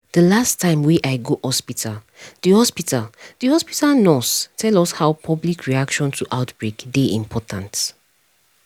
de last time wey i go hospitalthe hospitalthe nurse tell us how public reaction to outbreak dey important